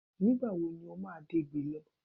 Nígbà wo ni o máa dẹ̀gbẹ́ lọ?